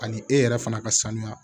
Ani e yɛrɛ fana ka sanuya